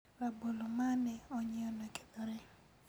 rabolo mane onyieo nokethore